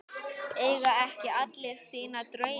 Eiga ekki allir sína drauma?